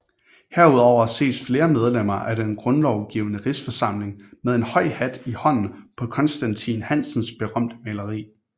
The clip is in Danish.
Herudover ses flere medlemmer af den Grundlovgivende Rigsforsamling med en høj hat i hånden på Constantin Hansens berømte maleri